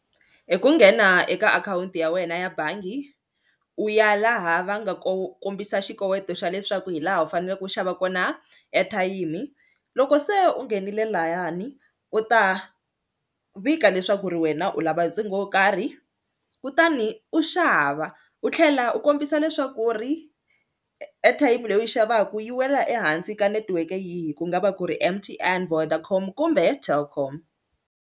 Hi ku nghena eka akhawunti ya wena ya bangi u ya laha va nga ko kombisa xikoweto xa leswaku hi laha u faneleke u xava kona ya ethayimi, loko se u nghenile layani u ta vika leswaku ri wena u lava ntsengo wo karhi kutani u xava u tlhela u kombisa leswaku ri airtime leyi u yi xavaka yi wela ehansi ka netiweke yihi ku nga va ku ri M_T_N, Vodacom kumbe he Telkom.